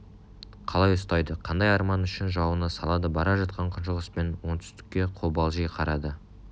қалай ұстайды қандай арман үшін жауына салады бара жатқан күншығыс пен оңтүстікке қобалжи қарады